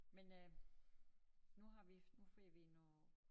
Men øh nu har vi nu får vi noget